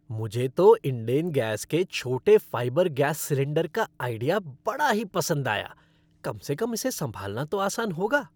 मुझे तो इंडेन गैस के छोटे फ़ाइबर गैस सिलेंडर का आइडिया बड़ा ही पसंद आया, कम से कम इसे संभालना तो आसान होगा।